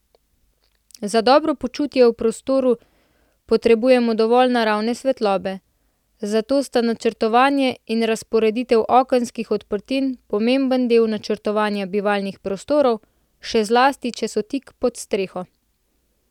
Za dobro počutje v prostoru potrebujemo dovolj naravne svetlobe, zato sta načrtovanje in razporeditev okenskih odprtin pomemben del načrtovanja bivalnih prostorov, še zlasti če so ti tik pod streho.